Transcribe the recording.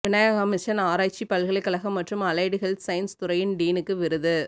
Vinayaka mission ஆராய்ச்சி பல்கலைக்கழகம் மற்றும் அலைடு ஹெல்த் சயின்ஸ் துறையின் டீனுக்கு விருது